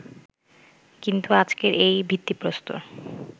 কিন্তু আজকের এই ভিত্তিপ্রস্তর